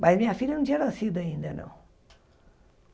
Mas minha filha não tinha nascido ainda, não.